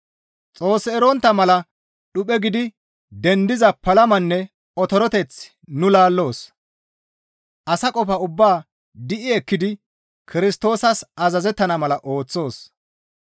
Xoos erontta mala dhuphe gidi dendiza palamanne otoreteth nu laalloos; asa qofa ubbaa di7i ekkidi Kirstoosas azazettana mala ooththoos.